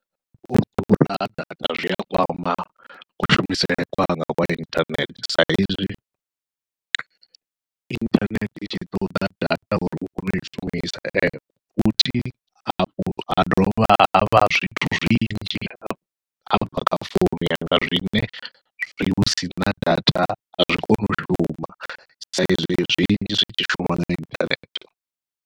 U ḓura ha data zwia kwama kushumisele kwanga kwa inthanethe saizwi inthanethe i tshi ṱoḓa data uri u kone ui shumisa, futhi hafhu ha dovha havha zwithu zwinzhi hafha kha founu yanga zwine hu sina data azwi koni u shuma sa izwi zwinzhi zwi tshi shuma nga inthanethe.